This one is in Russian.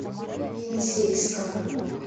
енисейска